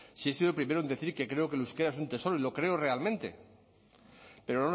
si he sido el primero en decir que creo que el euskera es un tesoro y lo creo realmente pero